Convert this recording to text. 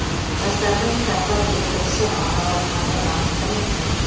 жастардың кітапқа бет бұрысы анау айтқандай маңыздыма